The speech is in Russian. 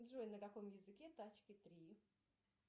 джой на каком языке тачки три